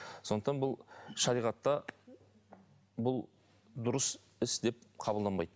сондықтан бұл шариғатта бұл дұрыс іс деп қабылданбайды